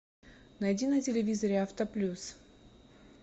найди на телевизоре автоплюс